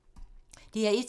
DR1